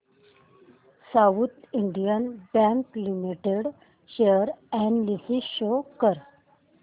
south Indian Bank Limited share analysis show कर